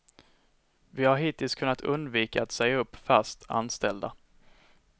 Vi har hittills kunnat undvika att säga upp fastanställda.